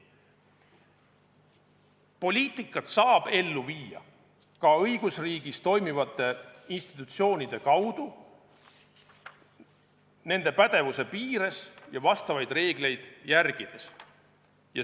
Poliitikat saab ellu viia ka õigusriigis toimivate institutsioonide kaudu, nende pädevuse piires ja vastavaid reegleid järgides.